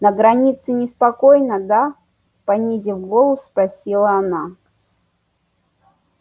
на границе неспокойно да понизив голос спросила она